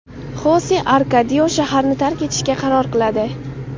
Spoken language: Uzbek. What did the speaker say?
Xose Arkadio shaharni tark etishga qaror qiladi.